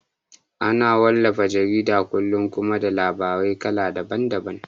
Ana wallafa jaridar kullum kuma da labarai kala daban daban